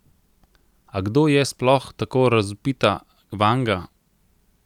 A kdo je sploh tako razvpita Vanga?